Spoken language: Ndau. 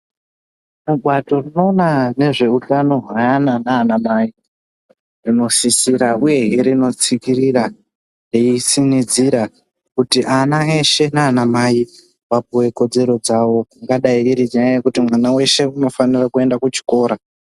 Bato rinoona ngezveutano hweana nanamai rinosisira uyehe rinotsikirira reitsinidzira kuti ana eshe nana mai vapuwe kodzero dzawo ingadai iri nyaya yekuti mwana weshe unofanira kuenda kuchikora .